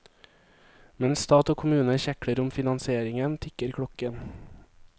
Mens stat og kommune kjekler om finansieringen, tikker klokken.